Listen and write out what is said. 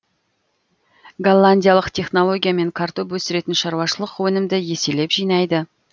голландиялық технологиямен картоп өсіретін шаруашылық өнімді еселеп жинайды